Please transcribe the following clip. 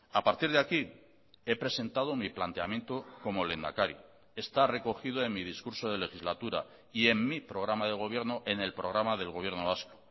a partir de aquí he presentado mi planteamiento como lehendakari está recogido en mi discurso de legislatura y en mi programa de gobierno en el programa del gobierno vasco